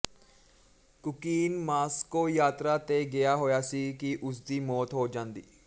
cocaine Moscow ਯਾਤਰਾ ਤੇ ਗਿਆ ਹੋਇਆ ਸੀ ਕਿ ਉਸਦੀ ਮੌਤ ਹੋ ਜਾਂਦੀ